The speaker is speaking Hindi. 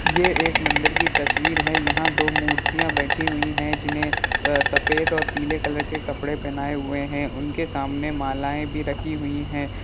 ये एक मंदिर की तस्वीर है| यहाँ दो मूर्तियां बैठी हुई है जिन्हें अ सफेद और पीले कलर के कपड़े पहनाए हुए हैं उनके सामने मालाएं भी रखी हुई हैं।